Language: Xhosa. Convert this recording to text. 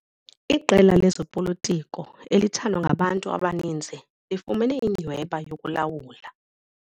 Iqela lezopolitiko elithandwa ngabantu abaninzi lifumene inyhweba yokulawula.